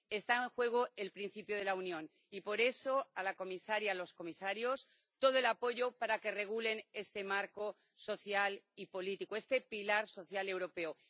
Está en juego el principio de la Unión y por eso, a la comisaria, a los comisarios, todo el apoyo para que regulen este marco social y político, este pilar social europeo.